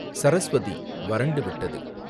சரஸ்வதி, வறண்டு விட்டது